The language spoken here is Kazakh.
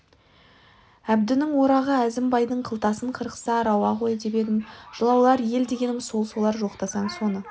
әбдінің орағы әзім-байдың қылтасын қырықса рауа ғой деп едім жылаулар ел дегенім сол солар жоқтасаң соны